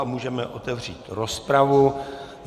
A můžeme otevřít rozpravu.